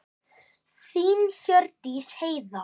Þín Hjördís Heiða.